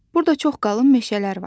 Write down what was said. Burda çox qalın meşələr var.